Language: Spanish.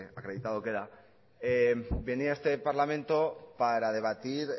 acreditado queda venía a este parlamento para debatir